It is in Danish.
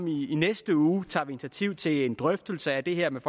i i næste uge tager vi initiativ til en drøftelse af det her med